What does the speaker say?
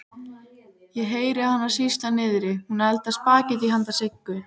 Ég heyri hana sýsla niðri, hún eldar spagettí handa Siggu.